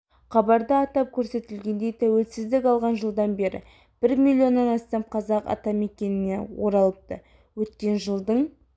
хабарда атап көрсетілгендей тәуелсіздік алған жылдан бері бір милионнан астам қазақ атамекеніне оралыпты өткен жылдың